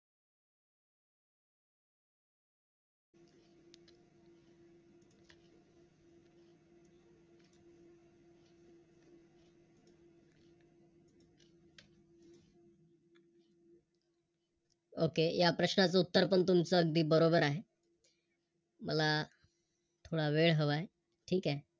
Okay या प्रश्ना चे उत्तर पण तुमचं अगदी बरोबर आहे. मला थोडा वेळ हवा आहे, ठीक आहे.